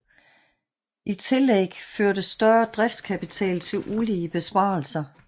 I tillegg førte større driftskapital til ulige besparelser